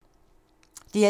DR1